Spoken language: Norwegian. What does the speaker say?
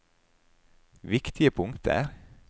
viktige punkter